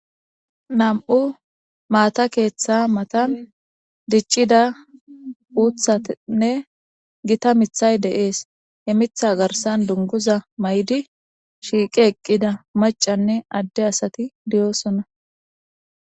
Nam'u maata keeththa matan diiccida uuththatinne gita miththay de'es he miththa garssan dunguza mayidi shiiqi eqqida maccanne adde asati de'osona.